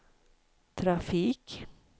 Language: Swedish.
trafik